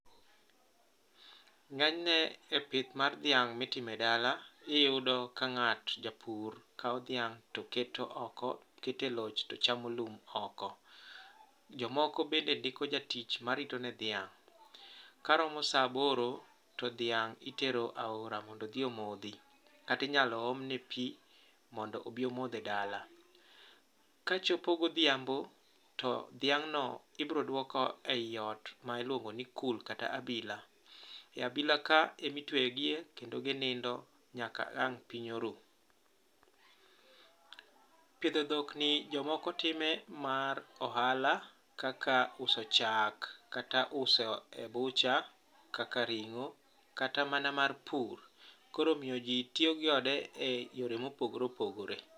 Ng'enyne e pith mar dhiang' mitimo e dala, iyudo ka ng'at, japur kawo dhiang' to keto oko, keto e loch to chamo lum oko. Jomoko bende ndiko jatich marito en dhiang'. Karomo sa aboro, to dhiang' itero aora mondo odhi omodhi, kata inyalo omne pi mondo obi omodh e dala. Kachopo godhiambo, to dhiang'no ibiro dwok e ot miluongo ni kul kata abila. E abilaka, emi tweyo gie kendo ginindo nyaka ang' piny oru. Pidho dhokni, jomoko time mar ohala, kaka uso chak kata uso e butcher kaka ring'o. kata mana mar pur. Koro omiyo ji tiyo gi ode e yore mopogore opogore.